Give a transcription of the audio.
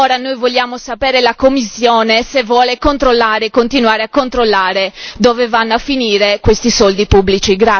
Ora noi vogliamo sapere se la Commissione vuole controllare e continuare a controllare dove vanno a finire questi soldi pubblici?